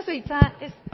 dan zer